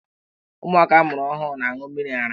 Ụmụaka a mụrụ ọhụrụ na-aṅụ mmiri ara.